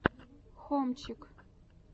хомчик